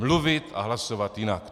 Mluvit a hlasovat jinak.